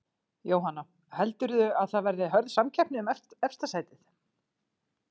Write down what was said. Jóhanna: Heldurðu að það verði hörð samkeppni um efsta sætið?